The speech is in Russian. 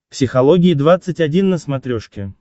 психология двадцать один на смотрешке